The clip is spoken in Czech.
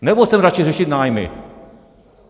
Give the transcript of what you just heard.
Nebo chceme radši řešit nájmy?